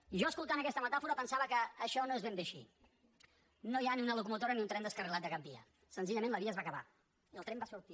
i jo escoltant aquesta metàfora pensava que això no és ben bé així no hi ha ni una locomotora ni un tren descarrilat de cap via senzillament la via es va acabar i el tren va sortir